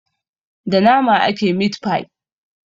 Da nama ake mit-fai.